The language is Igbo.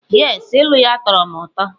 Yes, ilu ya tọọrọ m ụtọ.